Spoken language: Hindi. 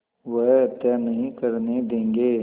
वह हत्या नहीं करने देंगे